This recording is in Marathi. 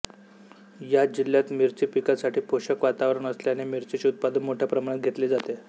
या जिल्ह्यात मिरची पिकासाठी पोषक वातावरण असल्याने मिरचीचे उत्पादन मोठ्या प्रमाणात घेतले जाते